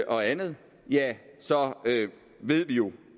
og andet så ved vi jo